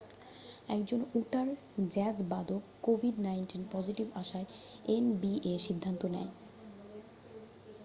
একজন উটার জ্যাজ বাদক covid-19 পজিটিভ আসায় nba সিদ্ধান্ত নেয়